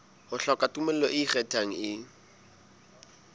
hloka tumello e ikgethang e